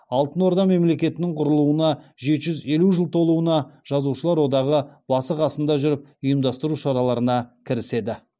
алтын орда мемлекетінің құрылуына жеті жүз елу жыл толуына жазушылар одағы басы қасында жүріп ұйымдастыру шараларына кіріседі